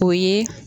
O ye